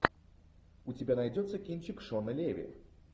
у тебя найдется кинчик шона леви